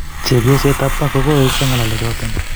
Chepyoset ab Park kogoesio ngalechoton.